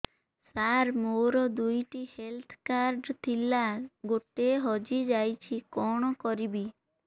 ସାର ମୋର ଦୁଇ ଟି ହେଲ୍ଥ କାର୍ଡ ଥିଲା ଗୋଟେ ହଜିଯାଇଛି କଣ କରିବି